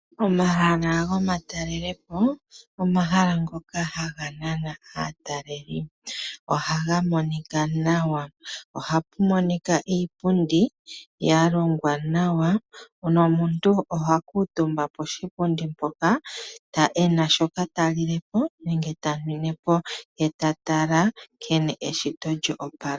Omahala gomatalelepo, omahala ngoka haga nana aatalelipo ohaga monika nawa ohapu monika iipundi yalongwa nawa, nomuntu oha kutumba poshipundi mpoka, ena shoka ta lile po nenge ta nwine po ye tatala nkene eshito lyoopala.